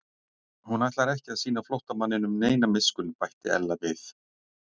Hún ætlar ekki að sýna flóttamanninum neina miskunn bætti Ella við.